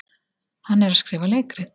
Hann er að skrifa leikrit.